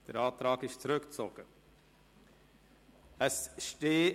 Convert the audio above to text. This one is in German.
Der Antrag ist zurückgezogen worden.